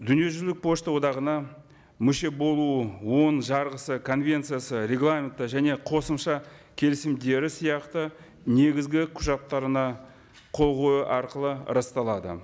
дүниежүзілік пошта одағына мүше болу оның жарғысы конвенциясы регламенті және қосымша келісімдері сияқты негізгі құжаттарына қол қою арқылы расталады